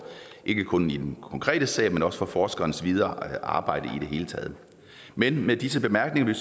ikke kun i den konkrete sag men også for forskerens videre arbejde i det hele taget men med disse bemærkninger vil